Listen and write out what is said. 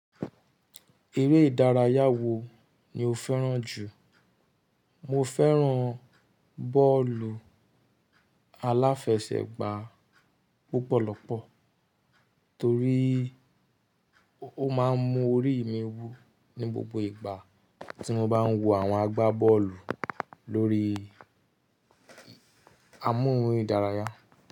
Eré ìdárayá wo ni o fẹ́ràn jù? Mo fẹ́ràn bọ́ọ̀lù aláfẹsẹ̀gbá púpọ̀lọpọ̀ torí ó máa ń mú orí mi wú ní gbogbo ìgbà tí mo bá ń wo àwọn agbábọ́ọ̀lù lórí amóhùn ìdárayá.